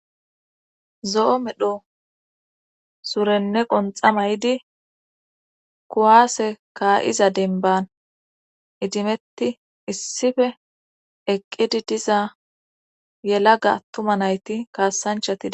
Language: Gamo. zo7o medho surenne qonxa ma yidi kuwaase kaa7iza denban idimetti issife eqqidi diza yelaga attuma nayti kaassanchati de'osona